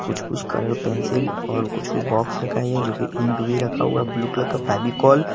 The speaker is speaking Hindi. कुछ कुछ कलर पेंसिल और कुछ कुछ बॉक्स भी रखा हुआ है जो की इंक भी रखा हुआ है ब्लू कलर का फेविकोल ।